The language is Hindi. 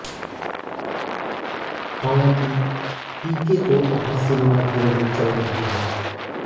हालांकि पीके तो अभी सिनेमा घरों में चल रही है